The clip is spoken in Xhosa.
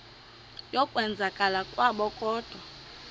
yokwenzakala kwabo kodwa